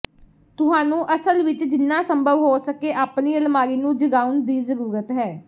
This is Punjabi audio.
ਤੁਹਾਨੂੰ ਅਸਲ ਵਿੱਚ ਜਿੰਨਾ ਸੰਭਵ ਹੋ ਸਕੇ ਆਪਣੀ ਅਲਮਾਰੀ ਨੂੰ ਜਗਾਉਣ ਦੀ ਜ਼ਰੂਰਤ ਹੈ